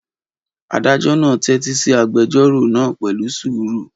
Adájọ́ náà tẹ́tí sí agbẹjọ́rò náà pẹ̀lú sùúrù.